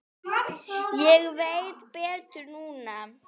Ég veit betur núna.